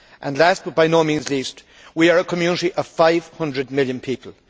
Last, but by no means least, we are a Community of 500 million people.